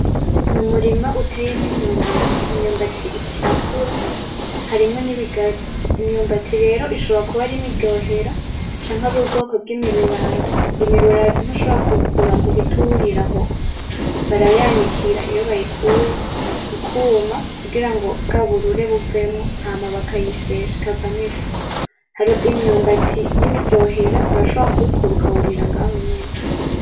N'umurima uteyemwo imyumbati, imyumbati iriko irakura; harimwo n'ibigazi, imyumbati rero ishobora kuba ari imiryohera canke ar'ubwoko bw'imirurazi, imirurazi ntushobora kuwukura ngo uhite uwurira aho, barayanikira iyo bayikuye ikuma kugira ngo bwa burure buvemwo; hama bakayisyesha ikavamwo ifu, hariho imyumbati y'imiryohera urashobora kuwukura ukawurira ngaho nyene.